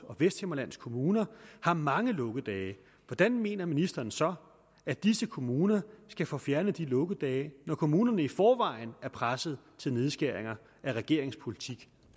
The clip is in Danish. og vesthimmerlands kommuner har mange lukkedage hvordan mener ministeren så at disse kommuner skal få fjernet de lukkedage når kommunerne i forvejen er presset til nedskæringer af regeringens politik